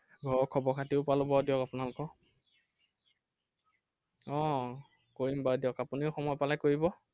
ঘৰৰ খবৰ খাতিও পালো বাৰু দিয়ক আপোনালোকৰ। আহ কৰিম বাৰু দিয়ক। আপুনিও সময় পালে কৰিব।